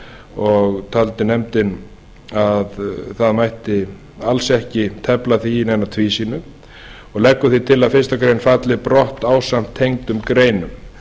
og taldi nefndin að það mætti alls ekki tefla því í neina tvísýnu og leggur því til að fyrstu grein falli brott ásamt tengdum greinum